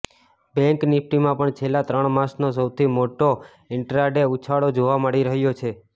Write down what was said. bank નિફટીમાં પણ છેલ્લા ત્રણ માસનો સૌથી મોટો ઈન્ટ્રાડે ઉછાળો જોવા મળી રહ્યો છે